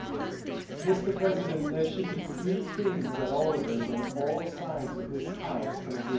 Mr President, there should be three things that all of us on all sides of this House can agree on.